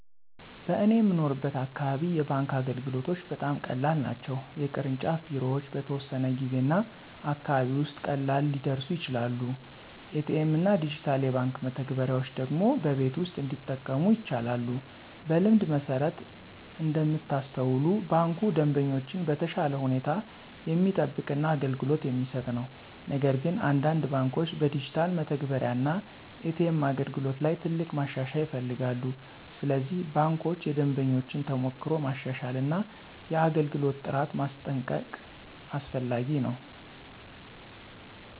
በእኔ የምኖርበት አካባቢ የባንክ አገልግሎቶች በጣም ቀላል ናቸው። የቅርንጫፍ ቢሮዎች በተወሰነ ጊዜ እና አካባቢ ውስጥ ቀላል ሊደርሱ ይችላሉ። ኤ.ቲ.ኤም እና ዲጂታል የባንክ መተግበሪያዎች ደግሞ በቤት ውስጥ እንዲጠቀሙ ይቻላሉ። በልምድ መሠረት እንደምታስተውሉ ባንኩ ደንበኞችን በተሻለ ሁኔታ የሚጠብቅ እና አገልግሎት የሚሰጥ ነው። ነገር ግን አንዳንድ ባንኮች በዲጂታል መተግበሪያ እና ኤ.ቲ.ኤም አገልግሎት ላይ ትልቅ ማሻሻያ ይፈልጋሉ። ስለዚህ ባንኮች የደንበኞችን ተሞክሮ ማሻሻል እና የአገልግሎት ጥራት ማስጠንቀቅ አስፈላጊ ነው።